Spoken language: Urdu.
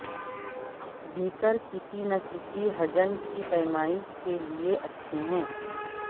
بیککر کسی نہ کسی حجم کی پیمائش کے لئے اچھے ہیں